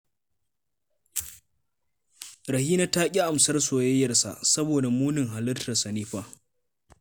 Rahina ta ƙi amsar soyayyarsa saboda munin halittarsa ne fa